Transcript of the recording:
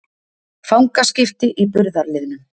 Fangaskipti í burðarliðnum